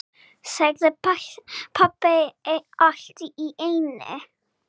sagði pabbi allt í einu.